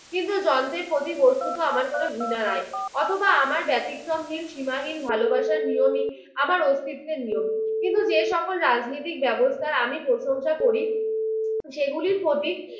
কিন্তু যন্ত্রের প্রতি বস্তুত আমার কোনো ঘৃণা নাই অথবা আমার ব্যতীক্রমহীন সীমাহীন ভালোবাসার নিয়মই আমার অস্তিত্বের নিয়ম। কিন্তু যে সকল রাজনীতিক ব্যবস্থার আমি প্রশংসা করি সেগুলির প্রতি